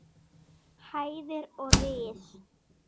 hæðir og ris.